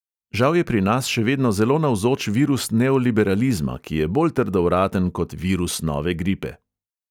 Žal je pri nas še vedno zelo navzoč virus neoliberalizma, ki je bolj trdovraten kot virus nove gripe.